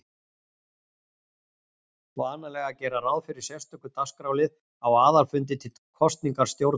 vanalegt að gera ráð fyrir sérstökum dagskrárlið á aðalfundi til kosningar stjórnar.